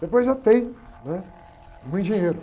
Depois já tem, né? Um engenheiro.